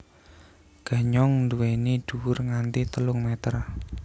Ganyong nduwèni dhuwur nganti telung méter